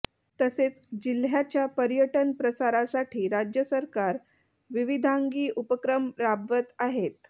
तसेच जिल्ह्याच्या पर्यटन प्रसारासाठी राज्य सरकार विविधांगी उपक्रम राबवत आहेत